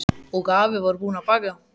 Og afi var búinn að baka.